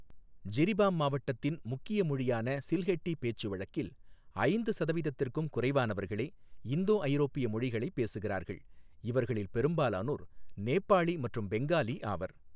ஜிரிபாம் மாவட்டத்தின் முக்கிய மொழியான சில்ஹெட்டி பேச்சுவழக்கில் ஐந்து சதவீதத்திற்கும் குறைவானவர்களே இந்தோஐரோப்பிய மொழிகளைப் பேசுகிறார்கள், இவர்களில் பெரும்பாலானோர் நேபாளி மற்றும் பெங்காலி ஆவர்.